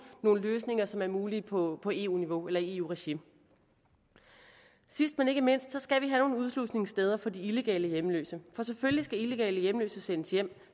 nogle løsninger som er mulige på på eu niveau eller i eu regi sidst men ikke mindst skal vi have nogle udslusningssteder for de illegale hjemløse for selvfølgelig skal illegale hjemløse sendes hjem